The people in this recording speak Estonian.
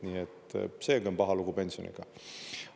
Nii et seegi on paha lugu pensioniga.